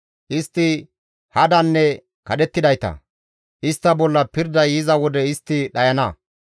Istti hadanne kadhettidayta; istta bolla pirday yiza wode istti dhayana.